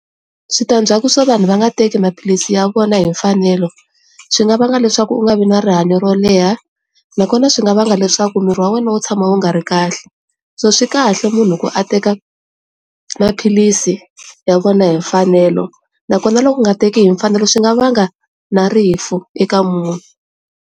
Switandzhaku swo vanhu va nga teki maphilisi ya vona hi mfanelo swi nga va nga leswaku u nga vi na rihanyo ro leha nakona swi nga va nga leswaku miri wa wena wu tshama wu nga ri kahle so swikahle munhu loko a teka maphilisi ya vona hi mfanelo nakona loku nga teki hi mfanelo swi nga vanga na rifu eka munhu.